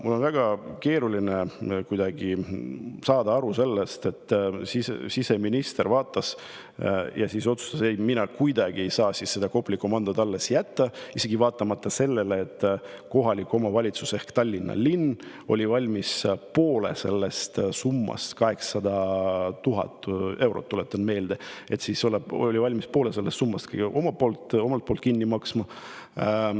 " Mul on väga keeruline saada aru sellest, kuidas siseminister vaatas ja siis otsustas, et ta kuidagi ei saa Kopli komandot alles jätta, isegi vaatamata sellele, et kohalik omavalitsus ehk Tallinna linn oli valmis poole sellest summast – see summa oli 800 000 eurot, tuletan meelde – kinni maksma.